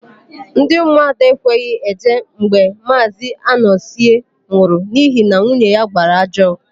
Ndị ụmụada ekweghị eje mgbe Maazị Anọzie nwụrụ n'ihi na nwunye ya gbara ajọ.